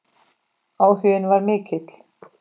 Áhuginn var mikill.